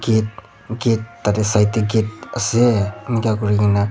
Gate gate tate side tey gate ase enika kuri kena--